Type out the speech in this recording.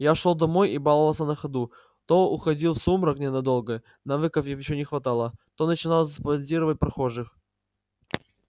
я шёл домой и баловался на ходу то уходил в сумрак ненадолго навыков ещё не хватало то начинал зондировать прохожих